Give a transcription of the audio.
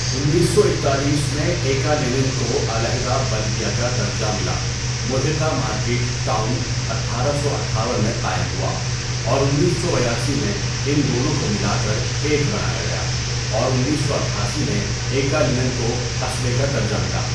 انیس سو اکتالیس میں ایکالینن کو علیحدہ بلدیہ کا درجہ ملا ملحقہ مارکیٹ ٹاؤن اٹھارہ سو اٹھاون میں قائم ہوا اور انیس سو بیاسی میں ان دونوں کو ملا کر ایک بنایا گیا اور انیس سو اٹھاسی میں ایکالنن کو قصبے کا درجہ ملا.